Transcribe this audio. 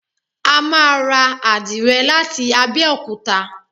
A máa ra àdìrẹ láti Abẹ́òkúta.